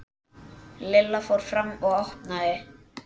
Lilla fór fram og opnaði.